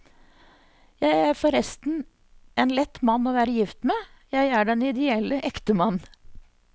Jeg er forresten en lett mann å være gift med, jeg er den ideelle ektemann.